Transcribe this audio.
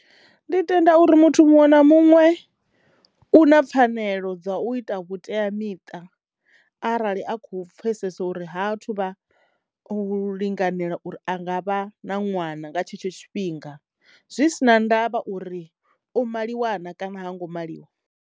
Ndi tenda uri muthu muṅwe na muṅwe u na pfanelo dza u ita vhuteamiṱa arali a kho pfesesa uri ha thu vha u linganela uri a nga vha na ṅwana nga tshetsho tshifhinga zwi si na ndavha uri o maliwa naa kana ha ngo maliwa.